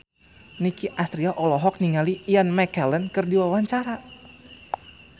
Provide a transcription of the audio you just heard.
Nicky Astria olohok ningali Ian McKellen keur diwawancara